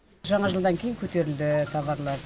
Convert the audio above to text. жаңа жылдан кейін көтерілді таварлар